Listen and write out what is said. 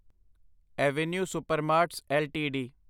avenue Supermarts LTD